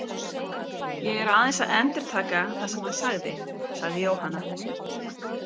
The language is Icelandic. Ég er aðeins að endurtaka það sem hann sagði, sagði Jóhanna.